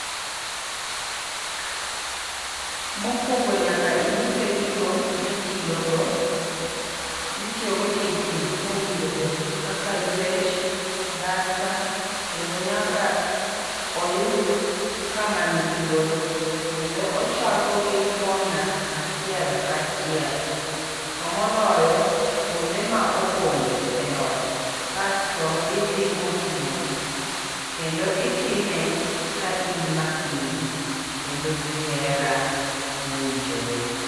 Mokwongo nyaka ing'ise gigo mitiyo go, itiyo go tijni mowinjore kaka ywech, dasta kendo nyaka oyud kama ni thuolo kendo ochako gi kona achiel kachiel. To moloyo kuonde ma opondo e ot kasto idhi mos mos kendo itime ka in makini kendo gi hera mowinjore.